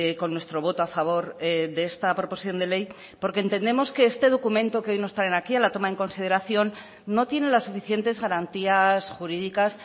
con nuestro voto a favor de esta proposición de ley porque entendemos que este documento que hoy nos traen aquí a la toma en consideración no tiene las suficientes garantías jurídicas